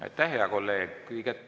Aitäh, hea kolleeg!